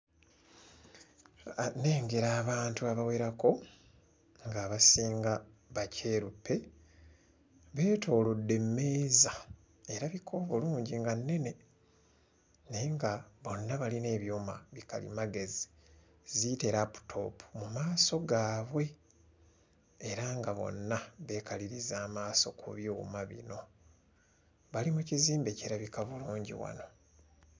Nnengera abantu abawerako ng'abasinga bakyeruppe beetoolodde emmeeza erabika obulungi nga nnene naye nga bonna balina ebyuma bi kalimagezi ziyite laputoopu mu maaso gaabwe era nga bonna beekaliriza amaaso ku byuma bino. Bali mu kizimbe kirabika bulungi wano.